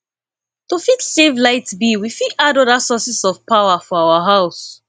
to fit save light bill we fit add oda sources or power for our house